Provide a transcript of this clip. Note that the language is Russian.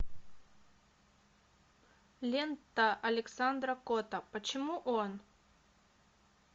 лента александра котта почему он